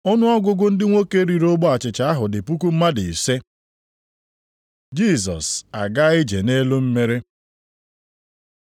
Ọnụọgụgụ ndị nwoke riri ogbe achịcha ahụ dị puku mmadụ ise. Jisọs agaa ije nʼelu mmiri